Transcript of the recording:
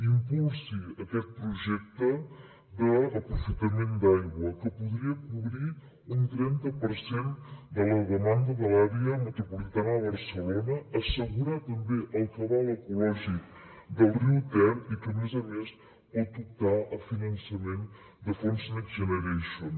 impulsi aquest projecte d’aprofitament d’aigua que podria cobrir un trenta per cent de la demanda de l’àrea metropolitana de barcelona assegurar també el cabal ecològic del riu ter i que a més a més pot optar a finançament de fons next generation